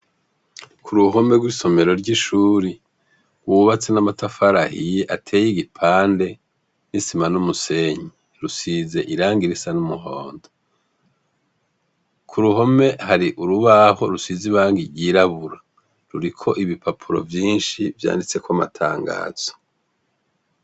Ku ruhome rw'isomero ry'ishuri rwubatswe n'amatafari ahiye ateye igipande n'isima n'umusenyi. Rusize irangi risa n'umuhondo. Ku ruhome hari urubaho rusize irangi ryirabura. Ruriko ibipapuro vyinshi vyanditse ko amatangazo.